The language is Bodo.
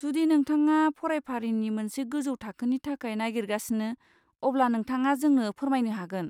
जुदि नोंथाङा फरायफारिनि मोनसे गोजौ थाखोनि थाखाय नागिरगासिनो, अब्ला नोंथाङा जोंनो फोरमायनो हागोन।